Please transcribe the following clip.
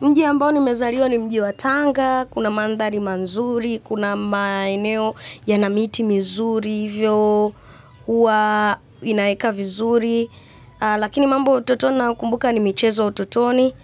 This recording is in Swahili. Mji ambao nimezaliwa ni mji wa Tanga, kuna mandhari mazuri, kuna maeneo yana miti mizuri, hivyo huwa inaeka vizuri. Lakini mambo utoto nakumbuka ni michezo utotoni.